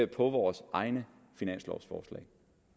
på vores egne finanslovforslag